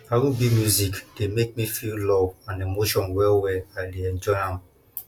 rb music dey make me feel love and emotion wellwell i dey enjoy am